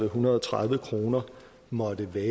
hundrede og tredive kroner måtte være